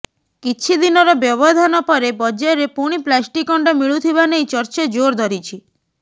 କିଛିଦିନର ବ୍ୟବଧାନ ପରେ ବଜାରରେ ପୁଣି ପ୍ଲାଷ୍ଟିକ୍ ଅଣ୍ଡା ମିଳୁଥିବା ନେଇ ଚର୍ଚ୍ଚା ଜୋର ଧରିଛି